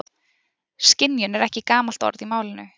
Skynjun er ekki gamalt orð í málinu.